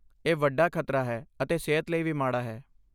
ਇਹ ਵੱਡਾ ਖ਼ਤਰਾ ਹੈ ਅਤੇ ਸਿਹਤ ਲਈ ਵੀ ਮਾੜਾ ਹੈ।